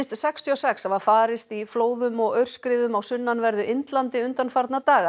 sextíu og sex hafa farist í flóðum og aurskriðum á sunnanverðu Indlandi undanfarna daga